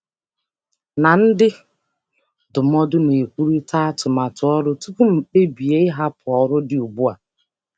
Ana m na ndị ndụmọdụ kparịta atụmatụ ọrụ kparịta atụmatụ ọrụ tupu m ekpebie ịhapụ ọrụ ugbu a.